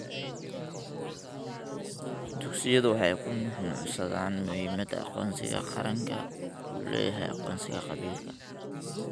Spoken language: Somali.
Dugsiyadu waxay ku nuuxnuuxsadaan muhiimadda aqoonsiga qaranku u leeyahay aqoonsiga qabiilka.